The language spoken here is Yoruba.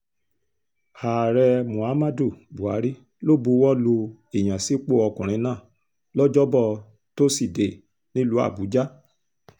ààrẹ muhammadu buhari ló buwọ́ lu ìyànsípò ọkùnrin náà lọ́jọ́bọ́ tosidee nílùú àbújá